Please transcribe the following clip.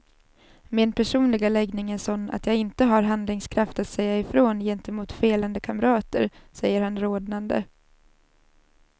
Min personliga läggning är sån att jag inte har handlingskraft att säga ifrån gentemot felande kamrater, säger han rodnande.